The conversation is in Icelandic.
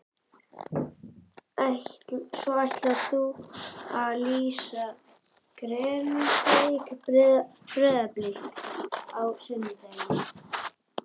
Svo ætlarðu að lýsa Grindavík- Breiðablik á sunnudaginn?